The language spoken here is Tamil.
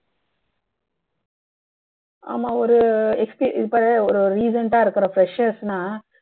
ஆமா ஒரு experience இப்போ recent டா இருக்கற fresher னா